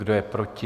Kdo je proti?